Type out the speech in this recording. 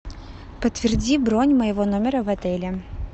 подтверди бронь моего номера в отеле